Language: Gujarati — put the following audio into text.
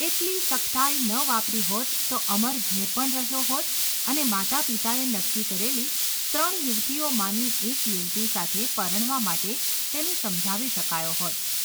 એટલી સખ્તાઈ ન વાપરી હોત તો અમર ઘેર પણ રહ્યો હોત અને માતાપિતાએ નક્કી કરેલી ત્રણ યુવતીઓમાંની એક યુવતી સાથે પરણવા માટે તેને સમજાવી શકાયો હોત.